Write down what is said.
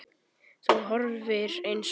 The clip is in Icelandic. Þú horfir eins á mig.